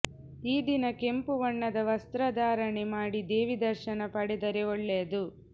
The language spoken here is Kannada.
ಈ ದಿನ ಕೆಂಪು ಬಣ್ಣದ ವಸ್ತ್ರಧಾರಣೆ ಮಾಡಿ ದೇವಿ ದರ್ಶನ ಪಡೆದರೆ ಒಳ್ಳೆಯದು